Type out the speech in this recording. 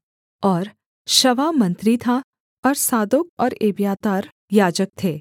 और शवा मंत्री था और सादोक और एब्यातार याजक थे